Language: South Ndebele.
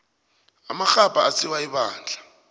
amarhabha asiwa ebandla